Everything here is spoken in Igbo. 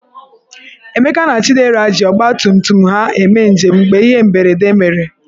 Emeka na Chidera ji ọgbatumtum ha eme njem mgbe ihe mberede mere.